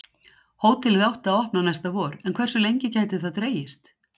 Hótelið átti að opna næsta vor en hversu lengi gæti það dregist?